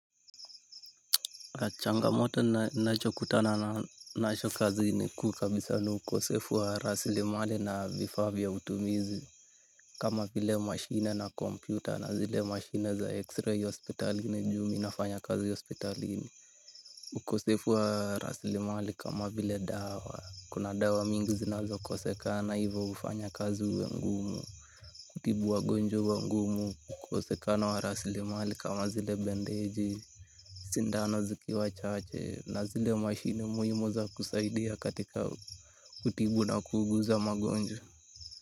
Changamoto ninacho kutana nacho kazini, kuu kabisa ni ukosefu wa rasilimali na vifaa vya utumizi. Kama vile machine na kompyuta na zile machine za x-ray hospitalini juu mi nafanya kazi hospitalini. Ukosefu wa rasilimali kama vile dawa. Kuna dawa mingi zinazokosekana ivo ufanya kazi uwe mgumu. Kutibu wagonjwa huwa ngumu. Ukosekana wa rasilimali kama zile bendeji sindano zikiwa chache, na zile mashini muhimu za kusaidia katika kutibu na kuuguza magonjwa.